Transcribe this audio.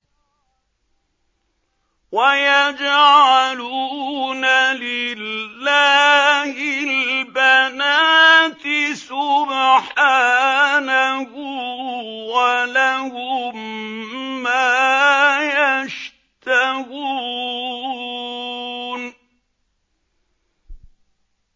وَيَجْعَلُونَ لِلَّهِ الْبَنَاتِ سُبْحَانَهُ ۙ وَلَهُم مَّا يَشْتَهُونَ